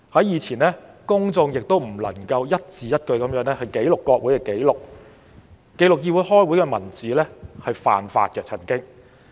以前公眾也不能一字一句地記錄國會紀錄，因為記錄國會會議文字曾經是犯法的。